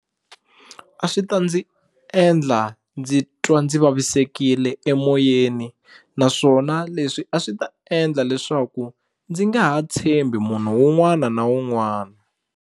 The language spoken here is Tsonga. A swi ta ndzi endla ndzi twa ndzi vavisekile emoyeni naswona leswi a swi ta endla leswaku ndzi nga ha tshembi munhu wun'wana na wun'wana.